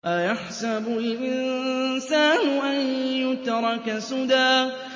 أَيَحْسَبُ الْإِنسَانُ أَن يُتْرَكَ سُدًى